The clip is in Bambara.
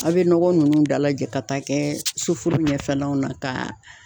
A' bɛ nɔgɔ nunnu dalajɛ ka taa kɛ sufuru ɲɛfɛlaw na ka